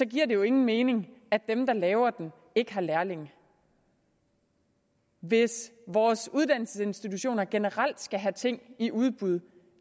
giver det jo ingen mening at dem der laver den ikke har lærlinge hvis vores uddannelsesinstitutioner generelt skal have ting i udbud